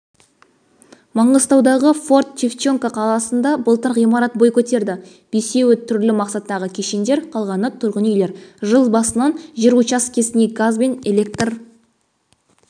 маңғыстаудағы форт-шевченко қаласында былтыр ғимарат бой көтерді бесеуі түрлі мақсаттағы кешендер қалғаны тұрғын үйлер жыл басынан жер учаскесіне газ бен электр